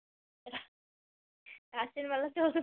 রাসের মেলা তো